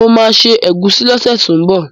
Mo ma se ẹ̀gúsí lọ́sẹ̀ tó ń bọ̀